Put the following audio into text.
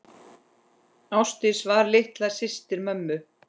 fallega þeir sér ansa.